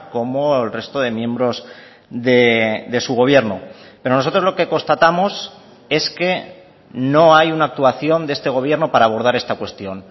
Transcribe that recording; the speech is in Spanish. como el resto de miembros de su gobierno pero nosotros lo que constatamos es que no hay una actuación de este gobierno para abordar esta cuestión